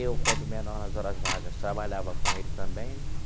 Eu, quando menor nas horas vagas, trabalhava com ele também, né?